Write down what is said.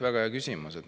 Väga hea küsimus.